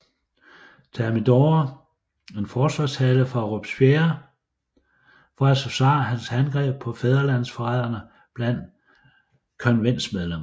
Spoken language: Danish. Thermidor en forsvarstale for Robespierre for at forsvare hans angreb på fædrelandsforræderne blandt konventsmedlemmerne